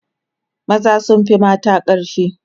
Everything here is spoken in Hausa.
maza sun Fi mata ƙarfi